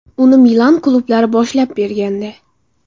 Uni Milan klublari boshlab bergandi.